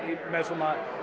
með svona